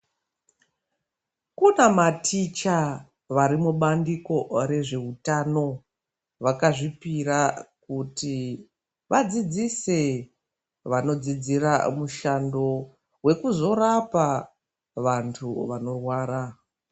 Kunamaticha varimubandiko rezveutano vakazvipira kuti vadzidzise vanodzidzira mushando wekuzorapa vantu vanorwara.